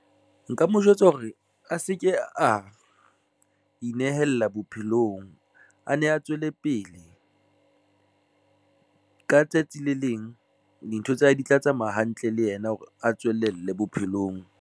Nka mo jwetsa hore a se ke a inehela bophelong, a ne a tswele pele ka tsatsi le leng dintho tsa hae di tla tsamaya hantle le yena hore a tswelelle bophelong.